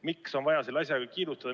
Miks on vaja selle asjaga kiirustada?